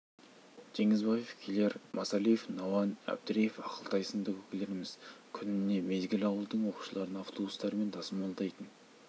теңізбаев келер масалиев науан әбдіреев ақылтай сынды көкелеріміз күніне мезгіл ауылдың оқушыларын автобустарымен тасымалдайтын